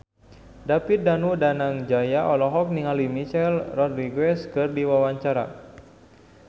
David Danu Danangjaya olohok ningali Michelle Rodriguez keur diwawancara